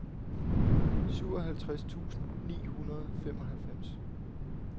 syvoghalvtreds tusind ni hundrede og femoghalvfems